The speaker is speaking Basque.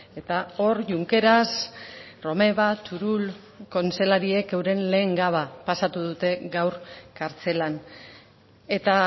eta hor junkeras romeva turull kontseilariak euren lehen gaua pasatu dute gaur kartzelan eta